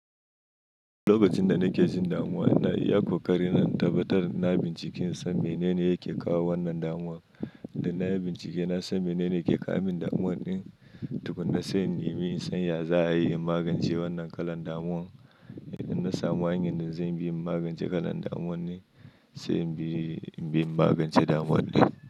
Lokacin da nake jin damuwa, ina iya ƙoƙarin in tabbatar na bincika insan menene yake kawo wannan damuwar. Da na yi bincike na san menene ke kawo min damuwar ɗin, tukuna sai in nemi in san ya za a yi in magance wannan kalan damuwar. Idan na samu hanyar da zan bi in magance kalan damuwar ne, sai in bi in bi in magance damuwar ɗin.